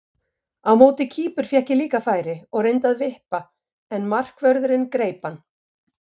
Á móti Kýpur fékk ég líka færi og reyndi að vippa en markvörðurinn greip hann.